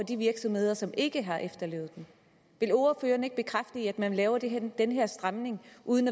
de virksomheder som ikke har efterlevet den vil ordføreren ikke bekræfte at man laver den den her stramning uden